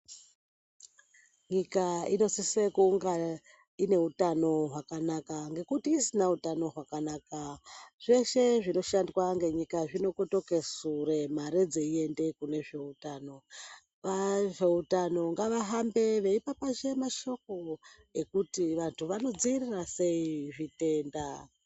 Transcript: Nyika inosisa kunga ine utano hwakanaka, ngekuti isina utano hwakanaka zveshe zvinoshandwa ngenyika zvinokotoke sure, mare dzeiende kune zveutano, veutano ngavahambe veipapashe mashoko ekuti vanthu vanodziirira sei zvitenda.